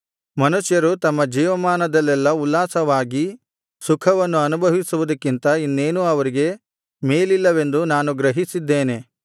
ಮನುಷ್ಯರು ತಮ್ಮ ಜೀವಮಾನದಲ್ಲೆಲ್ಲಾ ಉಲ್ಲಾಸವಾಗಿ ಸುಖವನ್ನು ಅನುಭವಿಸುವುದಕ್ಕಿಂತ ಇನ್ನೇನೂ ಅವರಿಗೆ ಮೇಲಿಲ್ಲವೆಂದು ನಾನು ಗ್ರಹಿಸಿದ್ದೇನೆ